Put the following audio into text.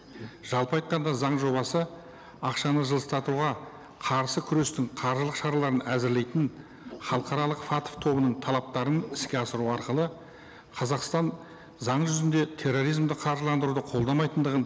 жалпы айтқанда заң жобасы ақшаны жылыстатуға қарсы күрестің қаржылық шараларын әзірлейтін халықаралық фатф тобының талаптарын іске асыру арқылы қазақстан заң жүзінде терроризмді қаржыландыруды қолдамайтындығын